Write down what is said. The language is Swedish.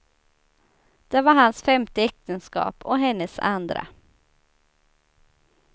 Det var hans femte äktenskap och hennes andra.